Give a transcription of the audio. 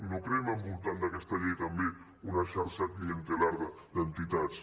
no creem al voltant d’aquesta llei també una xarxa clientelar d’entitats